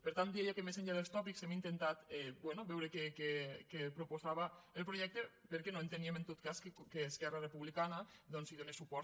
per tant deia que més enllà dels tòpics hem intentat bé veure què proposava el projecte perquè no entení·em en tot cas que esquerra republicana doncs hi donés suport